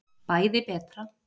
Bæði betra.